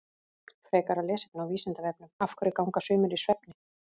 Frekara lesefni á Vísindavefnum Af hverju ganga sumir í svefni?